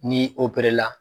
N'i la.